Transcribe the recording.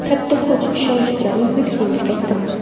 Katta kuch, ishonch bilan O‘zbekistonga qaytdim.